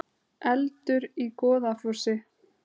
Eldur í Goðafossi